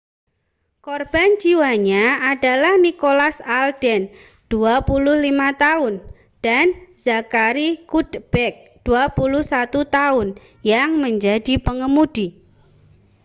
korban jiwanya adalah nicholas alden 25 tahun dan zachary cuddeback 21 tahun yang menjadi pengemudi